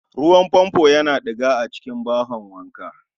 Ruwan Fanfon Yana diga a cikin bahon wanka